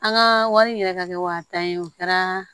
An ka wari yɛrɛ ka kɛ waa tan ye o kɛra